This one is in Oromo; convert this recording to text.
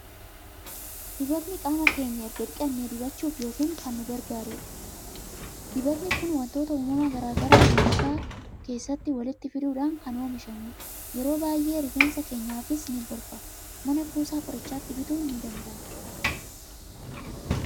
Dibatni qaama keenya erga dhiqannee dibachuuf kan nu gargaarudha. Dibatni kun waantota uumamaa gara garaa waarshaa keessatti walitti fiduudhaan kan oomishamudha. Yeroo baay'ee rifeensa keenyaafis ni gorfamu. Mana kuusaa qorichaatii bituun ni danda'ama.